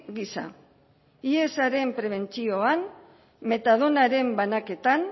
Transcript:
gisa hiesaren prebentzioan metadonaren banaketan